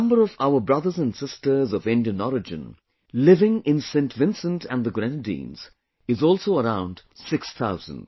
The number of our brothers and sisters of Indian origin living in Saint Vincent and the Grenadines is also around six thousand